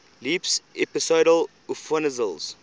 leaps episodal upheavals